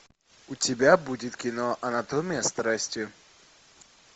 у тебя будет кино анатомия страсти